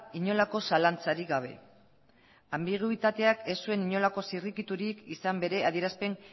inolako zalantzarik gabe anbiguetateak ez zuen inolako zirrikiturik izan bere adierazpen